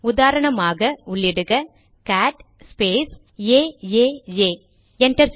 உதாரணமாக உள்ளிக cat space AAA enter